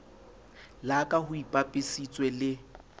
la ka ho ipapisitswe le